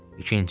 İkinci.